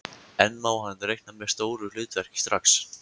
En má hann reikna með stóru hlutverki strax?